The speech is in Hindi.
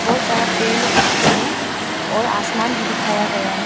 बहोत सारा पेड़ उगे हैं और आसमान भी दिखाया गया है।